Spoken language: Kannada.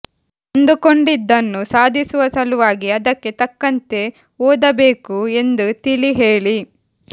ಅಂದುಕೊಂಡಿದ್ದನ್ನು ಸಾಧಿಸುವ ಸಲುವಾಗಿ ಅದಕ್ಕೆ ತಕ್ಕಂತೆ ಓದಬೇಕು ಎಂದು ತಿಳಿ ಹೇಳಿ